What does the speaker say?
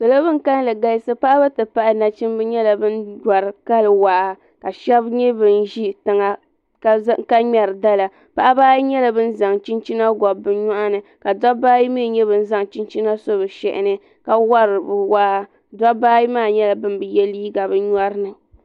Salo bin kalli galisi paɣaba ti tabili dabba nyɛla ban wari kali waa sheba nyɛ bin ʒi tiŋa ka ŋmɛri dala paɣaba ayi nyɛla ban zaŋ chinchina gɔbi bɛ nyɔɣuni ka dabba ayi mee nyɛ bin zaŋ chinchina so bɛ shehini ka wari bɛ waa dabba ayi maa nyɛlabin bi ye liiga bɛ nyɔrini.